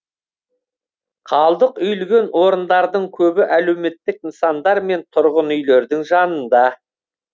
қалдық үйілген орындардың көбі әлеуметтік нысандар мен тұрғын үйлердің жанында